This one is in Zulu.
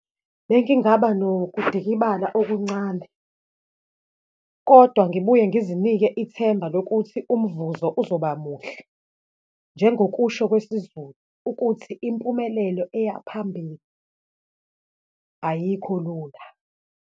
Bengingaba nokudikibala okuncane kodwa ngibuye ngizinike ithemba lokuthi umvuzo uzoba muhle, njengokusho kwesiZulu ukuthi, impumelelo eya phambili ayikho lula.